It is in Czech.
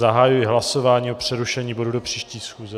Zahajuji hlasování o přerušení bodu do příští schůze.